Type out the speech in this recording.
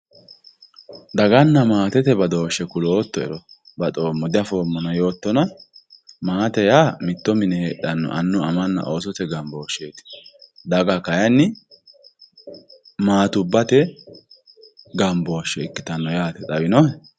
daganna maatete badooshshe kuloottoero baxoommo diafoommona yoottona maate yaa mitto mine heedhanno amanna oosote gambooshsheeti daga kayini maatubbate gambooshshe ikkitinno xawinohe